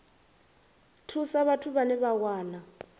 thusa vhathu vhane vha wana